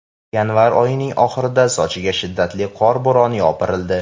Yanvar oyining oxirida Sochiga shiddatli qor bo‘roni yopirildi.